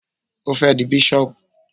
Ó fẹ́ di bísọ̀bù